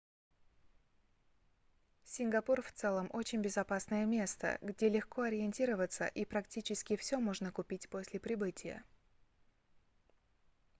сингапур в целом очень безопасное место где легко ориентироваться и практически всё можно купить после прибытия